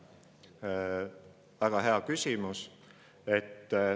väga hea küsimus.